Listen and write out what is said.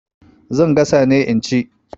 Zan gasa ne in ci.